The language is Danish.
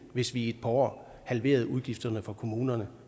hvis vi i et par år halverede udgifterne for kommunerne